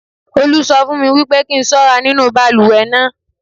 Olú sọ fún mi wípé kí n ṣọ́ra nínú balùwẹ̀ náà.